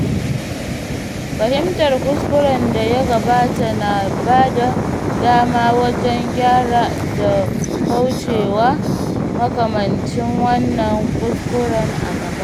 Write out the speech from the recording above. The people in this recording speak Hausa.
Fahimtar kuskuren da ya gabata na bada dama wajen gyara da kaucewa makamancin wannan kuskuren a gaba.